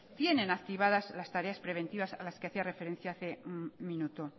tienen activadas las tareas preventivas a las que hacía referencia hace un minuto